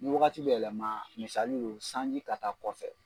Ni wagati bɛ yɛlɛma misali lo sanji ka taa kɔfɛ.